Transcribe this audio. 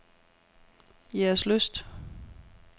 Jægerslyst